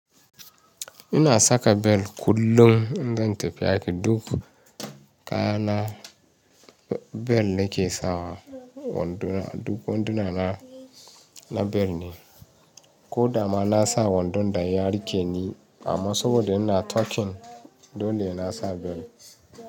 Ina saka bel kullum idan zan tafi aiki, duk kayana bel nake sawa wando, duk wandu na na bel ne. Ko da ma na sa wandon da ya rike ni amma saboda ina turken dole sena sa bel.